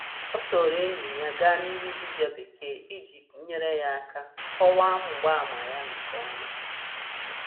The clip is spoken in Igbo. Ọ soro enyi ya gaa ịhụ dibia bekee iji nyere ya aka kọwaa mgbaàmà ya nke ọma.